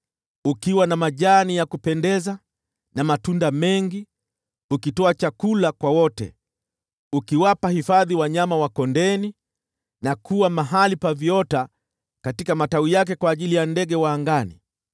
ukiwa na majani ya kupendeza na matunda mengi, ukitoa chakula kwa wote, na ukiwapa hifadhi wanyama wa kondeni na kuwa mahali pa viota katika matawi yake kwa ajili ya ndege wa angani.